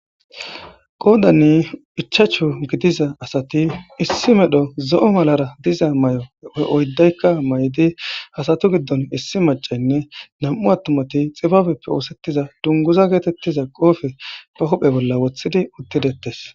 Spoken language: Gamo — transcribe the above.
qoodani ichachu gidiza asati issi medho zo7o malara diza may7oe oyddaykka may7di hasatu giddon issi macaynne nam7u attumati xibabeppe oosettiza dunguza geetettiza qoofe ba huphe bolla wothidi uttidettes